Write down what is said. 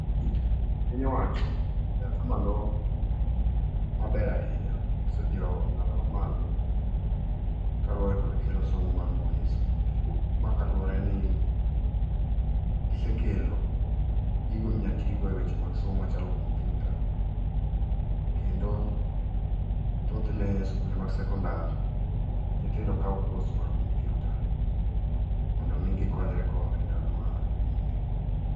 Piny owacho, e atamalo maber ahinya osedhi e ong'ala mamalo, kaluwore kod kelo somo mar mbui e skunde. Ma kaluwore ni gisekelo gigo minya tigo e weche mag somo machalo kompiuta. Kendo, thothne skunde mag sekondar nyithindo kawo kos mar kompiuta, mondo omi gikonyrego e ndalo manyime.